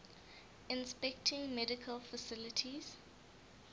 inspecting medical facilities